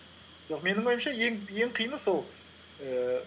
менің ойымша ең қиыны сол ііі